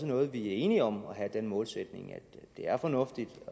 noget vi er enige om altså at have den målsætning at det er fornuftigt